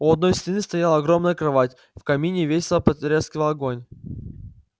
у одной стены стояла огромная кровать в камине весело потрескивал огонь